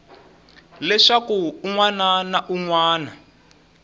leswaku un wana na un